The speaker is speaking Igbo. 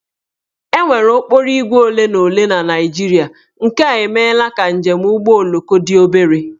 E nwere okporoígwè ole na ole na Naịjirịa nke a emeela ka njem ụgbọoloko dị obere